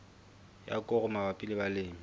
ya koro mabapi le balemi